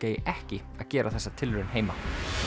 eigi ekki að gera þessa tilraun heima